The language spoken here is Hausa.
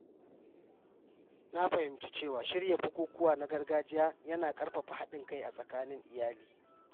Na fahimci cewa shirya bukukuwa na gargajiya yana ƙarfafa haɗin kai a tsakanin iyali.